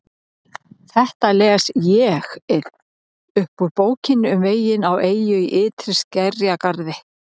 Þetta les ÉG-ið upp úr Bókinni um veginn á eyju í ytri skerjagarði